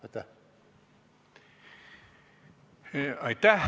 Aitäh!